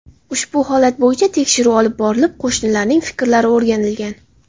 Ushbu holat bo‘yicha tekshiruv olib borilib, qo‘shnilarning fikrlari o‘rganilgan.